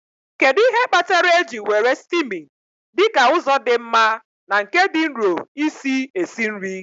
Kedu ihe kpatara eji were steaming dị ka ụzọ dị mma na nke dị nro isi esi nri?